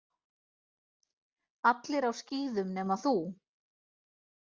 Allir á skíðum nema þú.